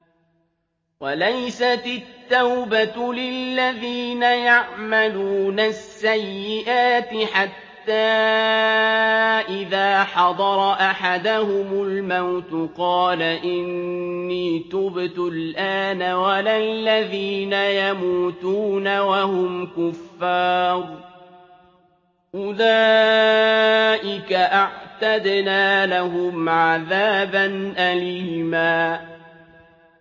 وَلَيْسَتِ التَّوْبَةُ لِلَّذِينَ يَعْمَلُونَ السَّيِّئَاتِ حَتَّىٰ إِذَا حَضَرَ أَحَدَهُمُ الْمَوْتُ قَالَ إِنِّي تُبْتُ الْآنَ وَلَا الَّذِينَ يَمُوتُونَ وَهُمْ كُفَّارٌ ۚ أُولَٰئِكَ أَعْتَدْنَا لَهُمْ عَذَابًا أَلِيمًا